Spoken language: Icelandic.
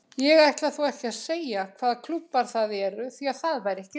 Ég ætla þó ekki að segja hvaða klúbbar það eru því það væri ekki rétt.